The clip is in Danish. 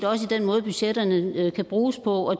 også i den måde budgetterne kan bruges på og